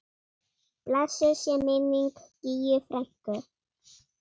Blessuð sé minning Gígju frænku.